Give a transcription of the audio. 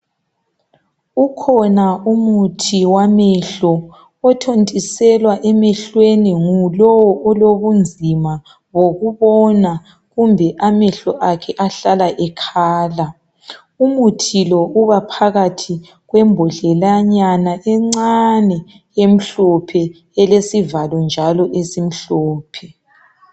Ukhona umuthi wamehlo, othontiselwa emehlweni, ngulowo olobunzima bokubona. Kumbe amehlo akhe ahlala ekhala. Umuthi lo ubaphakathi kwembodlelanyana encane, emhlophe, elesivalo njalo esimhlophe.